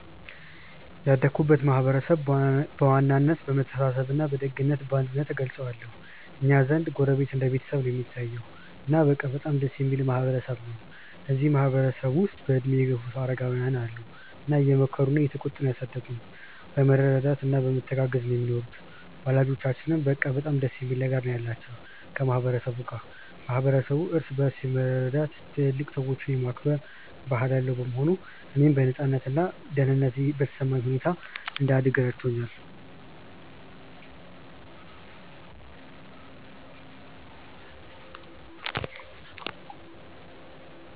ያደግኩበትን ማህበረሰብ በዋናነት በመተሳሰብ በደግነት እና በአንድነት እገልጸዋለሁ። እኛ ዘንድ ጎረቤት እንደ ቤተሰብ ነው እሚታየዉ። እና በቃ በጣም ደስ እሚል ማህበረ ሰብ ነው። እዚህ ማህበረ ሰብ ውስጥ በእድሜ የገፉ አረጋውያን አሉ እና እየመከሩና እየተቆጡ ነው ያሳደጉን። በመረዳዳት እና በመተጋገዝ ነው ሚኖሩት። ወላጆቻችንም በቃ በጣም ደስ የሚል ነገር ነው ያላቸው ከ ማህበረ ሰቡ ጋር። ማህበረሰቡ እርስ በርስ የመረዳዳት እና ትልልቅ ሰዎችን የማክበር ባህል ያለው በመሆኑ፣ እኔም በነፃነት እና ደህንነት በተሰማኝ ሁኔታ እንድደግ ረድቶኛል።